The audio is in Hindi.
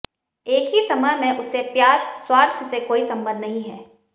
एक ही समय में उसे प्यार स्वार्थ से कोई संबंध नहीं है